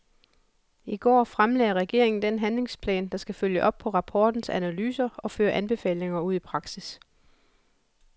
I går fremlagde regeringen den handlingsplan, der skal følge op på rapportens analyser og føre anbefalingerne ud i praksis.